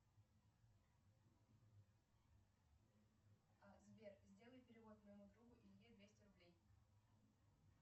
сбер сделай перевод моему другу илье двести рублей